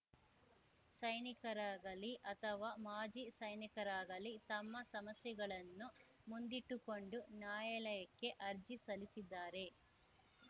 ಸೈನಿಕರಾಗಲಿ ಅಥವಾ ಮಾಜಿ ಸೈನಿಕರಾಗಲಿ ತಮ್ಮ ಸಮಸ್ಯೆಗಳನ್ನು ಮುಂದಿಟ್ಟುಕೊಂಡು ನಾಯಾಲಯಕ್ಕೆ ಅರ್ಜಿ ಸಲ್ಲಿಸಿದರೆ